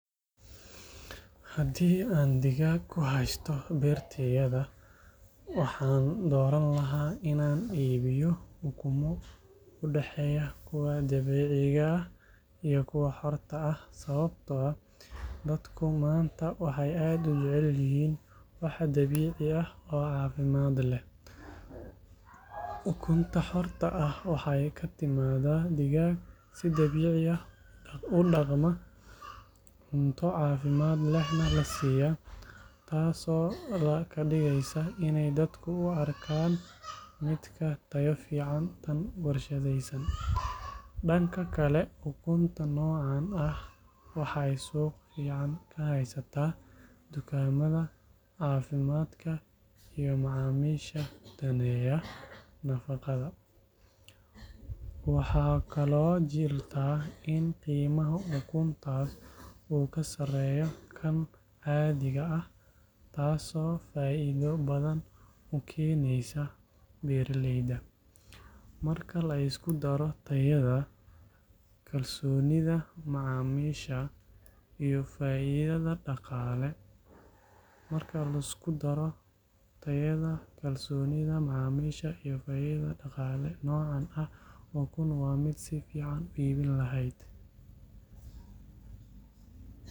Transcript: Haddii aan digaag ku haysto beertayda, waxaan dooran lahaa in aan iibiyo ukumo u dhexeeya kuwa dabiiciga ah iyo kuwa xorta ah sababtoo ah dadku maanta waxay aad u jecel yihiin wax dabiici ah oo caafimaad leh. Ukunta xorta ah waxay ka timaadaa digaag si dabiici ah u dhaqma, cunto caafimaad lehna la siiyo, taasoo ka dhigaysa iney dadku u arkaan mid ka tayo fiican tan warshadaysan. Dhanka kale, ukunta noocan ah waxay suuq fiican ka haysataa dukaamada caafimaadka iyo macaamiisha daneeya nafaqada. Waxaa kaloo jirta in qiimaha ukuntaas uu ka sarreeyo kan caadiga ah, taasoo faa’iido badan u keeneysa beeraleyda. Marka la isku daro tayada, kalsoonida macaamiisha iyo faa’iidada dhaqaale, noocan ah ukun waa mid si fiican u iibin lahayd.